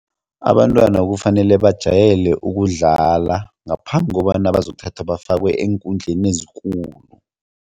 Abantwana kufanele bajayele ukudlala ngaphambi kobana bazokuthathwa bafakwe eenkundleni ezikulu.